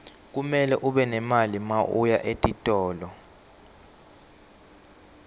kumele ube nemali mawuya etitolo